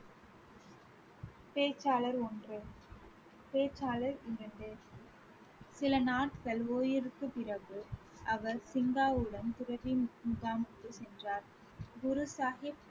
பேச்சாளர் ஒன்று. பேச்சாளர் இரண்டு சில நாட்கள் ஓய்விற்கு பிறகு அவர் சிங்காவுடன் துறவி முகாம் சென்றார். குரு சாஹிப்